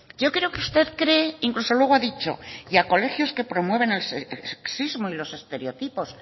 yo creo que usted cree incluso luego ha dicho y a colegios que promueven el sexismo y los estereotipos